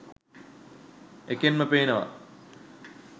එකෙන්ම පේනවා